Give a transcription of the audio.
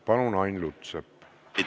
Palun, Ain Lutsepp!